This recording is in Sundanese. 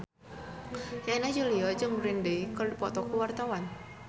Yana Julio jeung Green Day keur dipoto ku wartawan